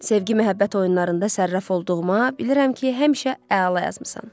Sevgi-məhəbbət oyunlarında sərraf olduğuma, bilirəm ki, həmişə əla yazmısan.